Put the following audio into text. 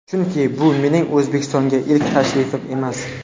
Chunki, bu mening O‘zbekistonga ilk tashrifim emas.